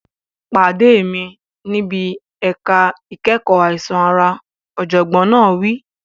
Pàdé mi níbi ẹ̀ka ìkẹ́kọ̀ọ́ àìsàn ara, ọ̀jọ̀gbọ́n náà wí.